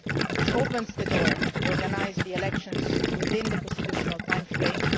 This opens the door to organising the elections within the constitutional timeframe.